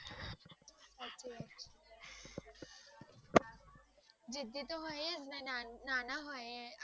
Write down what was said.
જીદી તો ઘણી હોયીટ્સ ના~નાના હોય આપણે